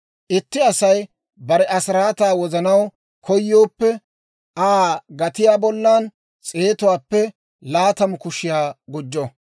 Itti Asay bare asiraataa wozanaw koyooppe, Aa gatiyaa bollan s'eetuwaappe laatamu kushiyaa gujjo.